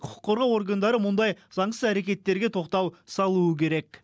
құқық қорғау органдары мұндай заңсыз әрекеттерге тоқтау салуы керек